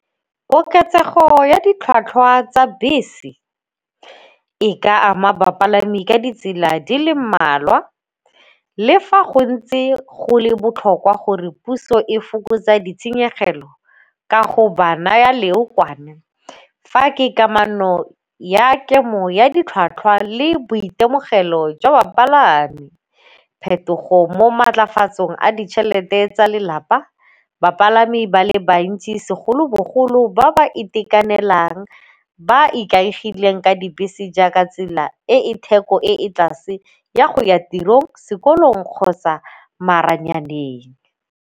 Koketsego ya ditlhwatlhwa tsa bese e ka ama bapalami ka ditsela di le mmalwa le fa go ntse go le botlhokwa gore puso e fokotsa ditshenyegelo ka go ba naya leokwane. Fa ke kamano ya kemo ya ditlhwatlhwa le boitemogelo jwa bapalami. Phetogo mo maatlafatsong a ditšhelete tsa lelapa bapalami ba le bantsi segolobogolo ba ba itekanelang ba ikaegileng ka dibese jaaka tsela e e theko e ko tlase ya go ya tirong, sekolong kgotsa maranyaneng.